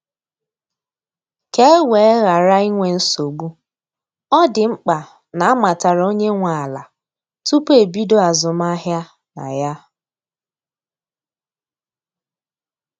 Ka e wee ghara inwe nsogbu, ọ dị mkpa na amatara onye nwe ala tupu ebido azụmahịa na ya.